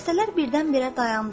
Dəstələr birdən-birə dayandı.